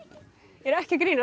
er ekki að grínast